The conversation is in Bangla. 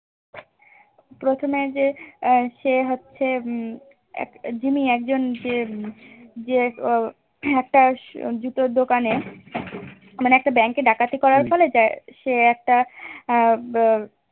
প্রথমে যে সে হচ্ছে উম জিম্মি একজন যে উম যে একটা জুতোর দোকানে মানে একটা bank এ ডাকাতি করার ফলে সে একটা